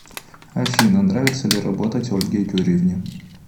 афина нравится ли работать ольге юрьевне